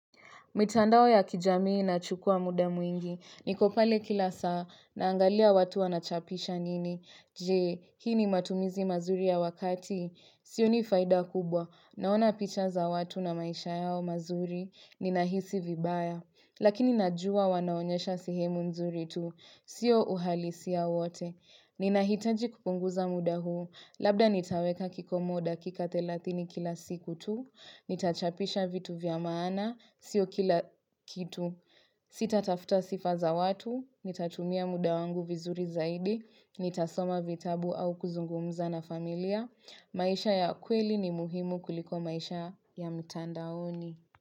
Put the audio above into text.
Mitandao ya kijamii nachukua muda mwingi, niko pale kila saa, naangalia watu wanachapisha nini, je, hii ni matumizi mazuri ya wakati? Sioni faida kubwa, naona picha za watu na maisha yao mazuri, ninahisi vibaya. Lakini najua wanaonyesha sehemu nzuri tu. Sio uhalisia wote. Ninahitaji kupunguza muda huu. Labda nitaweka kikomo dakika thelathini kila siku tu. Nitachapisha vitu vya maana. Sio kila kitu. Sita tafta sifa za watu. Nitatumia muda wangu vizuri zaidi. Nitasoma vitabu au kuzungumza na familia. Maisha ya kweli ni muhimu kuliko maisha ya ya mtandaoni.